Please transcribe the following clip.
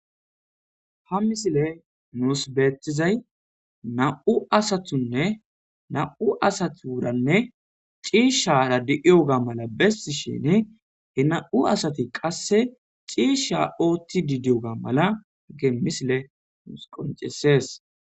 Ha misilee nuus beeththizay naa7u asathunne na7u asathuuranne ciishshaara de7iyoga mala besthishiini he na7u asathi qasse ciishshaa ooththiiddi diyoogaa mala hage misilee nuus qonccissees.